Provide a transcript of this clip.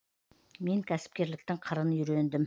мен кәсіпкерліктің қырын үйрендім